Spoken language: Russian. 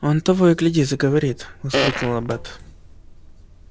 он того и гляди заговорит воскликнула бэт